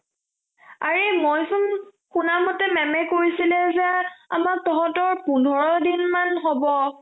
আৰে মই চোন শুনা মতে, maam কৈছিলে যে আমাক তঁহতৰ পোন্ধৰ দিনমান হব ।